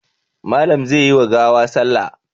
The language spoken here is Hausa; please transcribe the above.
Malam zai yi wa gawa salla.